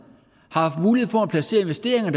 har haft mulighed for at placere investeringer er